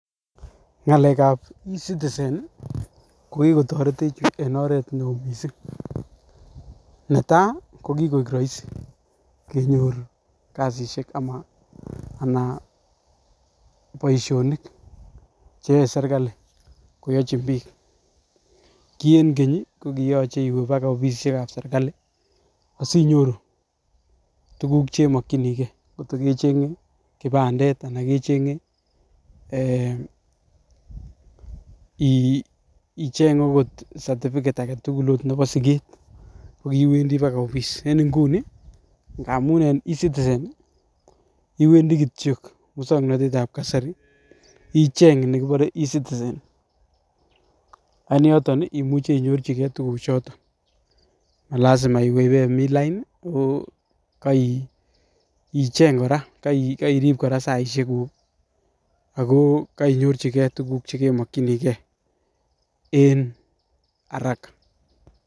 Ngalek ab ecitizen nii ko kikotoretech en oret neo missing netai kokikoik roisi kenyor kosishek ana anan boishonik cheyoe sirkalit kokochin bik, kii en kenyit kokiyoche iwee baka offisisiek ab serikali asinyoru tukuk cheimokinii gee kot ko kechenge kipandet kotko kechenge eeh iiih icheng okot certificate agetukul ot nebo siget kikiwendii baka office en inguni ngamun en ecitizen nii iwendii kityok muswoknotet ab kasari icheng nekinore ecitizen ak en yoton nii imuche inyorchii gee tukuk choton malasaima iwee bemin laini nii okeicheng koraa keirib koraa saishek kuuk ako kenyorchigee tukuk chekemokinii gee en haraka.